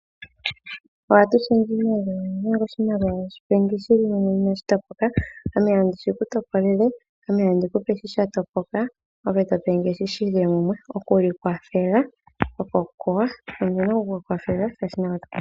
Ohatu shendje iimaliwa ngele oshimaliwa oweshi pendje shili mumwe inashi topoka ,ngaye tandi shi kutopolele, ngame tandi kupe shi sha topoka ngoye topendje shoka shili mumwe oku ikwathela oko okuwanawa.